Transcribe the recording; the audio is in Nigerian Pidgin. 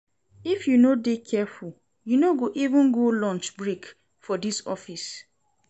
If you no dey careful, you no go even go lunch break for dis office.